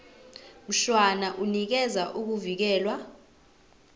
mshwana unikeza ukuvikelwa